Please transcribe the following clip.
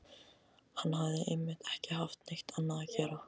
Hann hafði einmitt ekki haft neitt annað að gera.